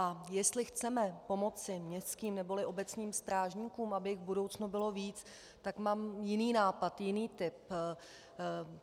A jestli chceme pomoci městským neboli obecním strážníkům, aby jich v budoucnu bylo víc, tak mám jiný nápad, jiný tip.